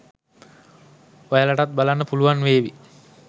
ඔයාලටත් බලන්න පුලුවන් වේවි